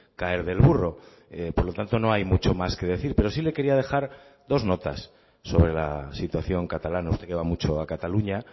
caer del burro por lo tanto no hay mucho más que decir pero sí le quería dejar dos notas sobre la situación catalana usted que va mucho a cataluña